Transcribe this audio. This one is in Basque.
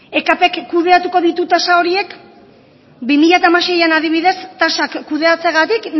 ekp k kudeatuko ditu tasa horiek bi mila hamaseian adibidez tasak kudeatzeagatik